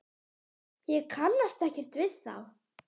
Ég kannast ekkert við þá.